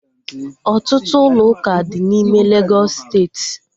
Ọtụtụ ụlọ ụka dị n'ime Legọs steeti